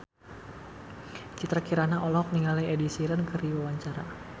Citra Kirana olohok ningali Ed Sheeran keur diwawancara